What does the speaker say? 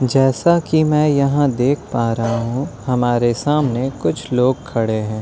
जैसा कि मैं यहां देख पा रहा हूं हमारे सामने कुछ लोग खड़े हैं।